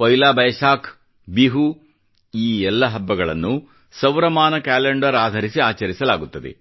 ಪೊಯಿಲಾ ಬೈಸಾಖ್ ಬಿಹು ಈ ಎಲ್ಲ ಹಬ್ಬಗಳನ್ನು ಸೌರಮಾನ ಕ್ಯಾಲೆಂಡರ್ ಆಧರಿಸಿ ಆಚರಿಸಲಾಗುತ್ತದೆ